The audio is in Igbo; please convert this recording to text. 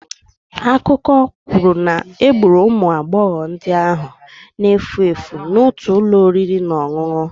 Akụkọ kwuru na egburu ụmụ agbọghọ ndị ahụ na-efu efu n'otu ụlọ oriri na ọṅụṅụ.